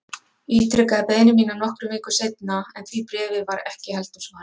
Ég ítrekaði beiðni mína nokkrum vikum seinna en því bréfi var ekki heldur svarað.